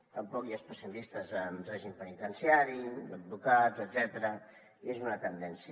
tampoc hi ha especialistes en règim penitenciari advocats etcètera i és una tendència